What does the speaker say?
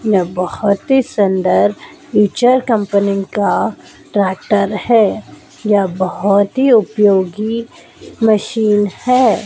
यह बहोत ही सुंदर इचर कंपनी का ट्रैक्टर है या बहोत ही उपयोगी मशीन है।